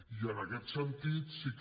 i en aquest sentit sí que